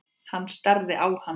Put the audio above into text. Hann starði á hann.